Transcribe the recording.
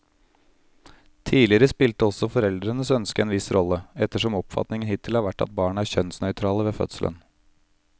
Tidligere spilte også foreldrenes ønske en viss rolle, ettersom oppfatningen hittil har vært at barn er kjønnsnøytrale ved fødselen.